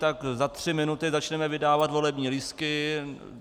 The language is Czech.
Tak za tři minuty začneme vydávat volební lístky.